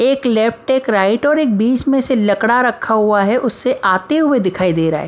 एक एक और एक बीच में से लकड़ा रखा हुआ है उससे आते हुए दिखाई दे रहा है।